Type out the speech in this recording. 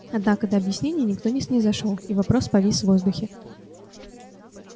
однако до объяснений никто не снизошёл и вопрос повис в воздухе